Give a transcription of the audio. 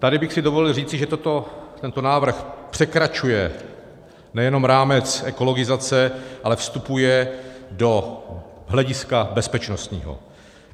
Tady bych si dovolil říct, že tento návrh překračuje nejenom rámec ekologizace, ale vstupuje do hlediska bezpečnostního.